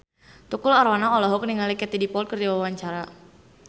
Tukul Arwana olohok ningali Katie Dippold keur diwawancara